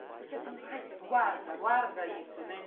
Porque assim, ai guarda, guarda isso, né?